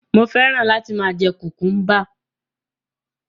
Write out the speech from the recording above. Mo fẹ́ràn láti máa jẹ kùkúḿbà.